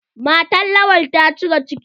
Matan Lawan ta cire ciki.